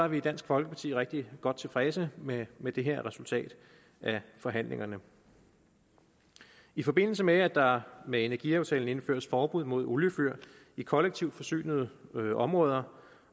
vi i dansk folkeparti rigtig godt tilfredse med med det her resultat af forhandlingerne i forbindelse med at der med energiaftalen indføres forbud mod oliefyr i kollektivt forsynede områder